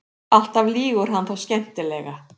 Alltaf lýgur hann þó skemmtilega.